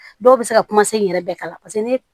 Dɔw bɛ se ka kuma se in yɛrɛ bɛɛ kan paseke ne